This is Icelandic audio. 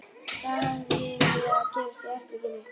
Hvað hafði verið að gerast í herberginu?